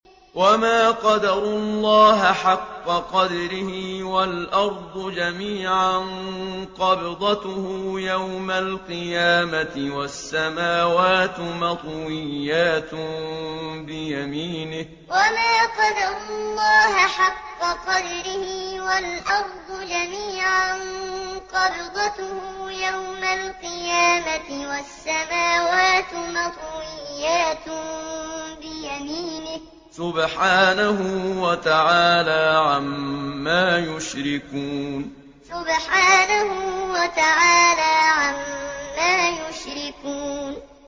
وَمَا قَدَرُوا اللَّهَ حَقَّ قَدْرِهِ وَالْأَرْضُ جَمِيعًا قَبْضَتُهُ يَوْمَ الْقِيَامَةِ وَالسَّمَاوَاتُ مَطْوِيَّاتٌ بِيَمِينِهِ ۚ سُبْحَانَهُ وَتَعَالَىٰ عَمَّا يُشْرِكُونَ وَمَا قَدَرُوا اللَّهَ حَقَّ قَدْرِهِ وَالْأَرْضُ جَمِيعًا قَبْضَتُهُ يَوْمَ الْقِيَامَةِ وَالسَّمَاوَاتُ مَطْوِيَّاتٌ بِيَمِينِهِ ۚ سُبْحَانَهُ وَتَعَالَىٰ عَمَّا يُشْرِكُونَ